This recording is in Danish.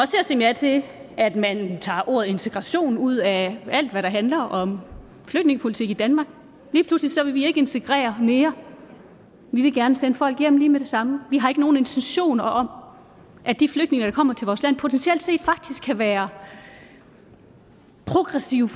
til at stemme ja til at man tager ordet integration ud af alt hvad der handler om flygtningepolitik i danmark lige pludselig så vil vi ikke integrere mere vi vil gerne sende folk hjem lige med det samme vi har ikke nogen intentioner om at de flygtninge der kommer til vores land potentielt set faktisk kan være progressive